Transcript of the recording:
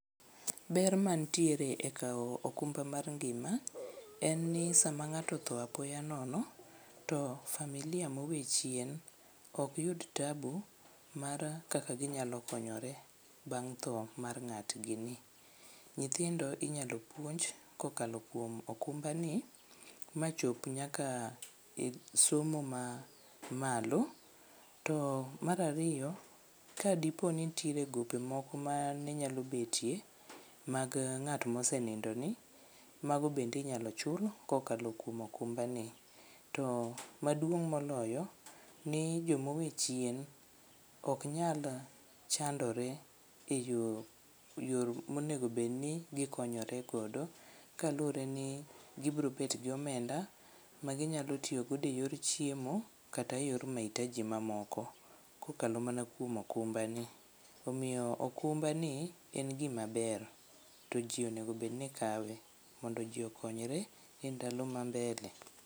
Ber mantiere e kawo okumba mar ngima en ni sama ng'ato otho apoya nono, to familia mowe chien ok yud tabu mar kaka ginyalo konyore bang' tho mar ng'atgini. Nyithindo inyalo puonj kokalo kuom okumbani machop nyaka e somo ma malo to mar ariyo, kadipo ni mtiere gope moko mane nyalo betie mag ng'at mosenindoni mago bende inyalo chul kokalo kuom okumbani to maduong' moloyo ni jomowe chien oknyal chandore e yo monegobedni gikonyoregodo kaluwore ni gibrobetgi omenda maginyalo tiyogodo e yor chiemo kata yor mahitaji mamoko kokalo mana kuom okumbani. Omiyo okumbani en gimaber to ji onegobedni kawe mondo ji okonyore e ndalo ma mbele.